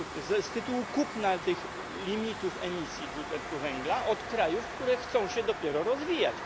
z tytułu kupna tych limitów emisji dwutlenku węgla od krajów, które chcą się dopiero rozwijać.